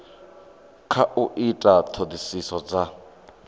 kha u ita ṱhoḓisiso dza